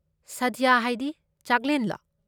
ꯁꯥꯗ꯭ꯌ ꯍꯥꯏꯗꯤ, ꯆꯥꯛꯂꯦꯟꯂꯣ?